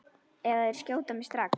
Eða þeir skjóta mig strax.